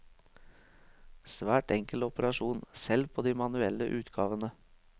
Svært enkel operasjon selv på de manuelle utgavene.